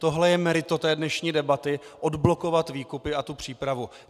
Tohle je meritum té dnešní debaty - odblokovat výkupy a tu přípravu.